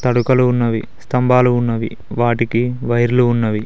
తడకలు ఉన్నవి స్తంభాలు ఉన్నవి వాటికి వైర్లు ఉన్నవి.